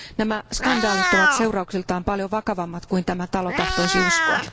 Nämä skandaalit ovat seurauksiltaan paljon vakavammat kuin tämä talo tahtoisi uskoa.